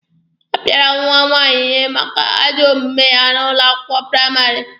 A pịara nwa nwaanyị ihe maka ajọ omume ya n'ụlọ akwụkwọ praịmarị.